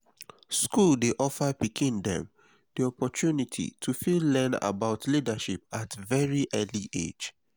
school dey offer pikin dem di opportunity to fit learn about leadership at very early age